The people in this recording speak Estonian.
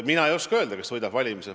Mina ei oska öelda, kes valimised võidab.